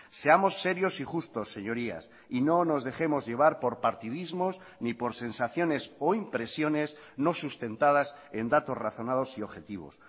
seamos serios y justos señorías y no nos dejemos llevar por partidismos ni por sensaciones o impresiones no sustentadas en datos razonados y objetivos